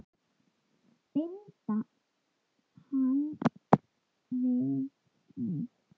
Binda hana við mig.